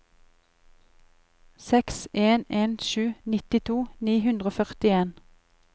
seks en en sju nittito ni hundre og førtien